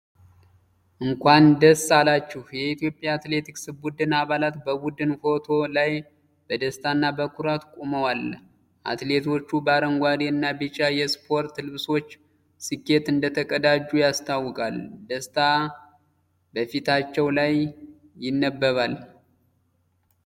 እንኳን ደስ አላችሁ! የኢትዮጵያ አትሌቲክስ ቡድን አባላት በቡድን ፎቶ ላይ በደስታና በኩራት ቆመዋል። አትሌቶቹ በአረንጓዴ እና ቢጫ የስፖርት ልብሶች ስኬት እንደተቀዳጁ ያስታውቃሉ። ደስታ በፊቶቻቸው ላይ ይነበባል።